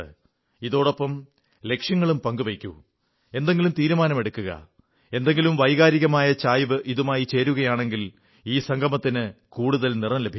ഇതോടൊപ്പം ലക്ഷ്യങ്ങളും പങ്കു വയ്ക്കു എന്തെങ്കിലും തീരുമാനമെടുക്കുക ഏതെങ്കിലും വൈകാരികമായ ചായ്വ് ഇതുമായി ചേരുകയാണെങ്കിൽ ഈ സംഗമത്തിന് കൂടുതൽ നിറം ലഭിക്കുന്നു